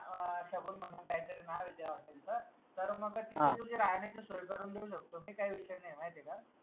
अं शगुन म्हनून काही तरी नावे द्या वाटेल तर तर मग राहण्याची सोय करून देऊ शकतो मी काही विषय नाई माहितीय का?